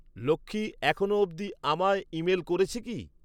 লক্ষী এখনো অব্ধি আমায় ইমেল করেছে কী?